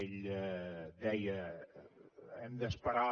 ell deia hem d’esperar